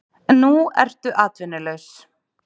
Nú ertu atvinnulaus.